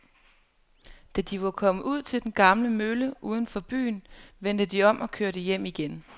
Da de var kommet ud til den gamle mølle uden for byen, vendte de om og kørte hjem igen.